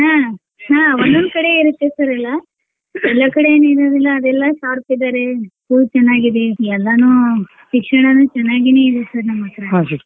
ಹ್ಮ್ ಹ್ಮ್ ಒಂದೊಂದ್ ಕಡೆ ಇರುತ್ತೆ sir ಎಲ್ಲಾ ಎಲ್ಲಾ ಕಡೆ ಎನ್ ಇರೂದಿಲ್ಲ ಅವ್ರೆಲ್ಲ sharp ಇದ್ದಾರೆ school ಚನಾಗಿದೆ ಎಲ್ಲಾನೂ ಶಿಕ್ಷಣನೂ ಚನಾಗಿನೆ ಇರುತ್ ನಮ್ ಹತ್ರ .